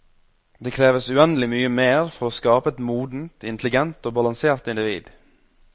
Det kreves uendelig mye mer for å skape et modent, intelligent og balansert individ.